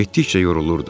Getdikcə yorulurdu.